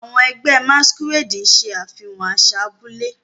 Àwọn ẹgbẹ́ Masquerade ṣe àfihàn àṣà abúlé.